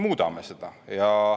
Muudame seda!